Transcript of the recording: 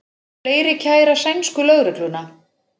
Fleiri kæra sænsku lögregluna